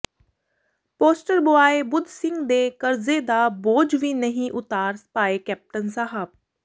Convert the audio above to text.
poster boy Budh Singh ਦੇ ਕਰਜ਼ੇ ਦਾ ਬੋਝ ਵੀ ਨਹੀਂ ਉਤਾਰ ਪਾਏ ਕੈਪਟਨ ਸਾਹਬ